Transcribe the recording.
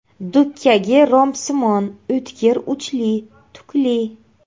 Dukkagi rombsimon, o‘tkir uchli, tukli.